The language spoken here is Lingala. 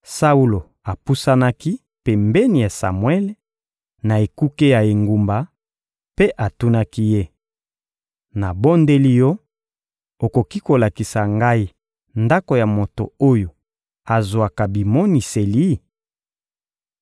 Saulo apusanaki pembeni ya Samuele, na ekuke ya engumba, mpe atunaki ye: — Nabondeli yo, okoki kolakisa ngai ndako ya moto oyo azwaka bimoniseli?